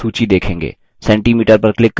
centimeter पर click करें